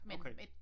Okay